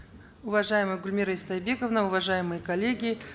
уважаемая гульмира истайбековна уважаемые коллеги